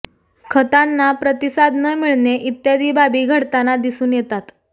खतांना प्रतिसाद न मिळणे इत्यादी बाबी घडताना दिसून येतात